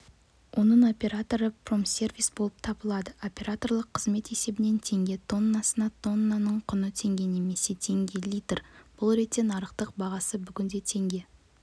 оның операторы промсервис болып табылады операторлық қызмет есебінен теңге тоннасына тоннаның құны теңгенемесе теңге литр бұл ретте нарықтық бағасы бүгінде теңге